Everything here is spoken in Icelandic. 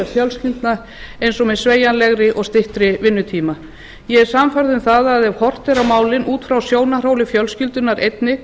fjölskyldna eins og með sveigjanlegri og styttri vinnutíma ég er sannfærð um að ef horft er á málin út frá sjónarhóli fjölskyldunnar einnig